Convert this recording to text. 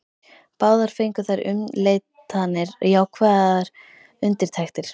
Báðar fengu þær umleitanir jákvæðar undirtektir.